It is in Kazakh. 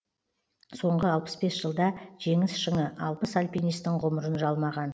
соңғы алпыс бес жылда жеңіс шыңы алпыс альпинистің ғұмырын жалмаған